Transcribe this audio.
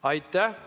Aitäh!